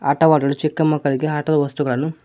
ಆಟವಾಡಲು ಚಿಕ್ಕ ಮಕ್ಕಳಿಗೆ ಆಟದ ವಸ್ತುಗಳನ್ನು--